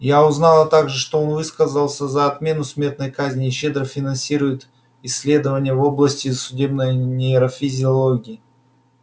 я узнала также что он высказался за отмену смертной казни и щедро финансирует исследования в области судебной нейрофизиологии